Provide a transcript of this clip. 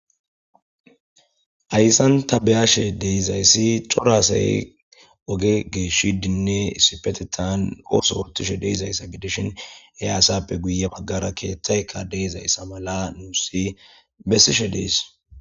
ayssan tabeyashe deizayssi corasay oge geeshi dinne isipetetan ooso ortishe deizayssa gidishin eaasappe guye maggara keeththayka deezayssa mala nuusi bessishe dees